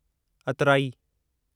अतराइ